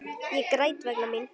Ég græt vegna mín.